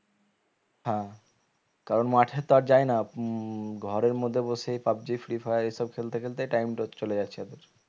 হা কারণ মাঠে তো আর যায় না উম ঘরের মধ্যে বসেই পাবজি ফ্রী ফায়ার এসব খেলতে খেলতে time টা চলে যাচ্ছে